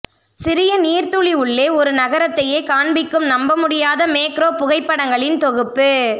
சிறிய நீர் துளி உள்ளே ஒரு நகரத்தையே காண்பிக்கும் நம்பமுடியாத மேக்ரோ புகைப்படங்களின் தொகுப்பு